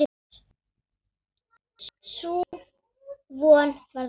Sú von varð að engu.